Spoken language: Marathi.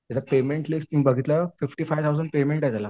त्याचं पेमेंट लिस्ट मी बघितलं फिफ्टी फाईव्ह थाऊसंड पेमेंट आहे त्याला.